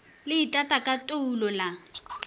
le itata ka toulo la